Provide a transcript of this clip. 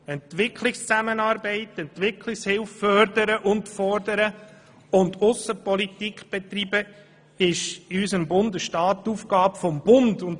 Entwicklungszusammenarbeit und Entwicklungshilfe zu fördern und zu fordern und Aussenpolitik zu betreiben, ist in unserem Bundesstaat die Aufgabe des Bundes.